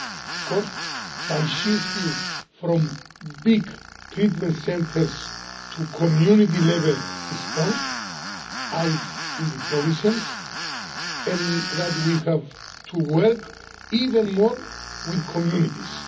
Of course, by shifting from big treatment centres to community-level response, out in the provinces, we have to work even more with communities.